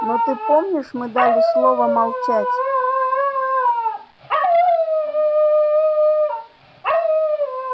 но ты помнишь мы дали слово молчать